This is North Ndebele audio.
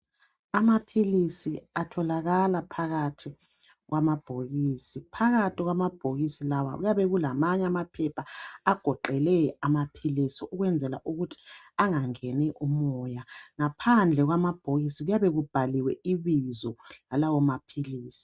Amaphilisi atholakala phakathi kwamabhokisi . Phakathi kwamabhokisi lawa kuyabe kulamanye amaphepha agoqele amaphilisi ukwenzela ukuthi angangeni umoya. Ngaphandle kwamabhokisi kuyabe kubhaliwe ibizo lalawo maphilisi.